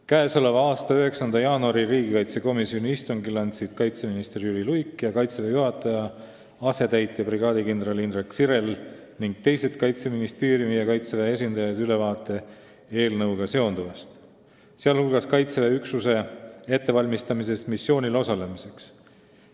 Käesoleva aasta 9. jaanuari riigikaitsekomisjoni istungil andsid kaitseminister Jüri Luik ja Kaitseväe juhataja asetäitja brigaadikindral Indrek Sirel ning teised Kaitseministeeriumi ja Kaitseväe esindajad ülevaate eelnõuga seonduvast, sh Kaitseväe üksuse ettevalmistamisest missioonil osalemiseks.